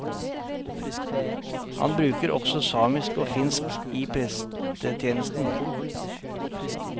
Han bruker også samisk og finsk i prestetjenesten.